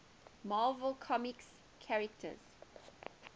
marvel comics characters